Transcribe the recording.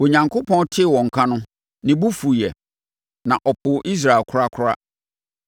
Onyankopɔn tee wɔn nka no, ne bo fuiɛ; na ɔpoo Israel korakora.